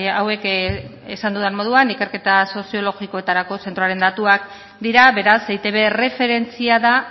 hauek esan dudan moduan ikerketa soziologikoetarako zentroaren datuak dira beraz eitb erreferentzia da